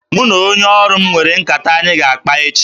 Mụ na onye ọrụ m nwere nkata anyị ga-akpa echi